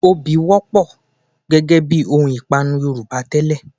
Obì wọ́pọ̀ gẹ́gẹ bí ohun ìpanu Yorùbá tẹ́lẹ̀